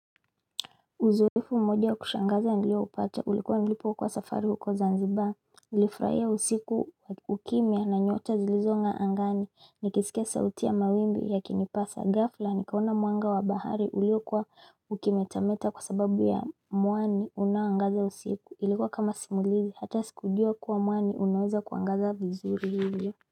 Uzoefu mmoja ukushangaza nilio upata ulikuwa nilipokuwa kwa safari huko Zanziba Nilifurahia usiku ukimya na nyota zilizongaa angani Nikisika sauti ya mawimbi yaki nipasa gafla nikaona mwanga wa bahari uliokwa ukimetameta kwa sababu ya muani unaoagaza usiku Ilikuwa kama simulizi hata sikujua kuwa muani unaweza kuangaza vizuri ilio.